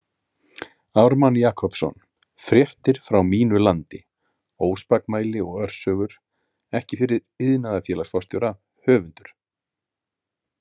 Ármann Jakobsson FRÉTTIR FRÁ MÍNU LANDI Óspakmæli og örsögur Ekki fyrir iðnaðarfélagsforstjóra, höfundur.